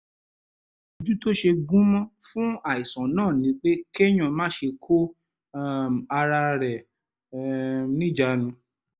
ìtọ́jú tó ṣe gúnmọ́ fún àìsàn náà ni pé kéèyàn máṣe kó um ara rẹ̀ um níjàánu